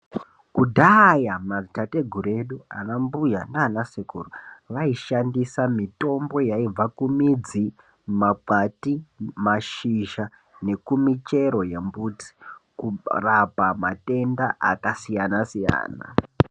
Kudhaya madziteteguru edu, anambuya naanasekuru vaishandisa mitombo yaibva kumidzi, makwati, mashisha nekumichero yembuti, kurapa matenda akasiyana-siyana.